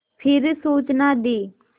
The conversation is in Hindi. फिर सूचना दी